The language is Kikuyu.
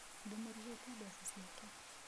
Ndimũrĩhĩte mbeca ciake.